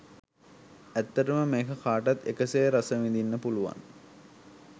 ඇත්තටම මේක කාටත් එක සේ රස විඳින්න පුළුවන්